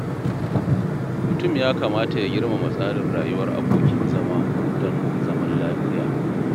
Mutum ya kamata ya girmama tsarin rayuwar abokin zama don zaman lafiya.